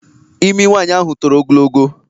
Imi nwaanyị ahụ toro ogologo.